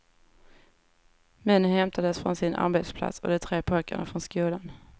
Männen hämtades från sina arbetsplatser och de tre pojkarna från skolan.